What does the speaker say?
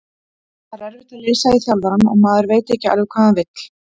Það er erfitt að lesa í þjálfarann og maður veit ekki alveg hvað hann vill.